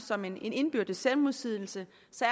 som en indbygget selvmodsigelse